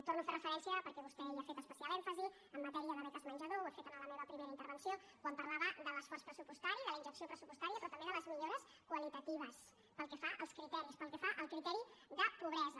torno a fer referència perquè vostè hi ha fet especial èmfasi en matèria de beques menjador ho he fet en la meva primera intervenció quan parlava de l’esforç pressupostari de la injecció pressupostària però també de les millores qualitatives pel que fa als criteris pel que fa al criteri de pobresa